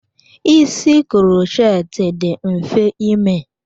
Ísì krochet dị mfe ime.